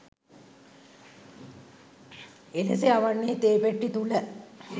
එලෙස යවන්නේ තේ පෙට්ටි තුළ